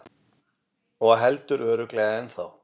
Og heldur örugglega ennþá.